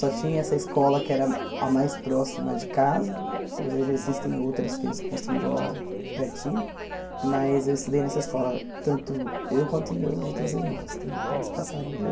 Só tinha essa escola que era a mais próxima de casa, hoje já existem outras que eles construíram lá pertinho, mas eu estudei nessa escola, tanto eu quanto meus outros irmãos também, todos passaram por